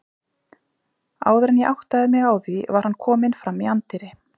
Áður en ég áttaði mig á því var hann kominn fram í anddyri.